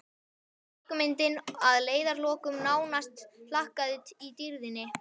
Leikmyndin að leiðarlokum nánast hlakkandi í dýrðinni.